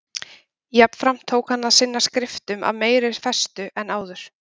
Jafnframt tók hann að sinna skriftum af meiri festu en áður.